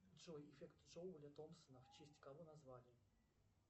джой эффект джоуля томпсона в честь кого назвали